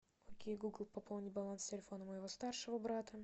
окей гугл пополни баланс телефона моего старшего брата